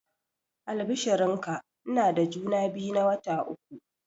Albishirin ka, ina da juma biyu na wata uku